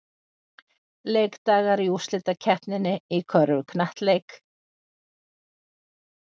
Leikdagar í úrslitakeppninni í körfuknattleik